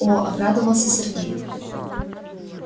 о обрадовался сергей